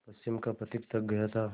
पश्चिम का पथिक थक गया था